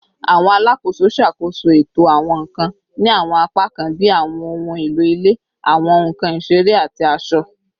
Awọn alakoso ṣakoso eto awọn nkan ni awọn apakan bi awọn ohun elo ile, awọn nkan isere, ati aṣọ